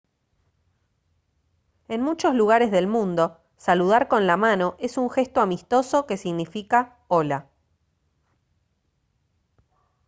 en muchos lugares del mundo saludar con la mano es un gesto amistoso que significa «hola»